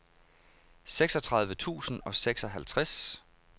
seksogtredive tusind og seksoghalvtreds